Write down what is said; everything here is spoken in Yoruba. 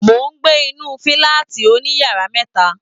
Mo n gbé inú fúlàátí òníyàrá mẹta.